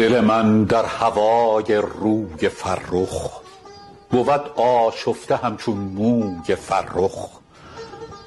دل من در هوای روی فرخ بود آشفته همچون موی فرخ